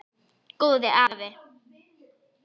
Góði afi.